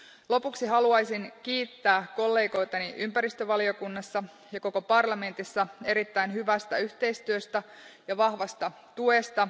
Lopuksi haluaisin kiittää kollegoitani ympäristövaliokunnassa ja koko parlamentissa erittäin hyvästä yhteistyöstä ja vahvasta tuesta.